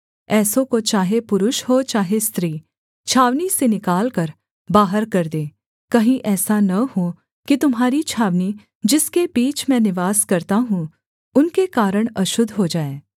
ऐसों को चाहे पुरुष हों चाहे स्त्री छावनी से निकालकर बाहर कर दें कहीं ऐसा न हो कि तुम्हारी छावनी जिसके बीच मैं निवास करता हूँ उनके कारण अशुद्ध हो जाए